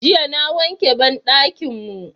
Jiya na wanke banɗakin mu